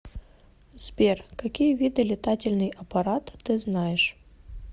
сбер какие виды летательный аппарат ты знаешь